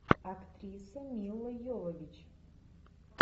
актриса мила йовович